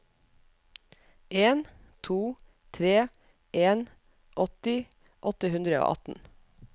en to tre en åtti åtte hundre og atten